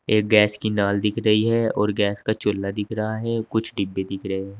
एक गैस की नाल दिख रही है और गैस का चूल्हा दिख रहा है कुछ डिब्बे दिख रहे है।